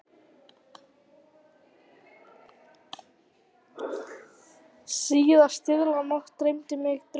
Síðastliðna nótt dreymdi mig draum.